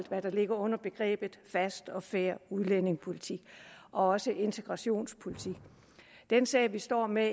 hvad der ligger i begrebet fast og fair udlændingepolitik og også integrationspolitik den sag vi står med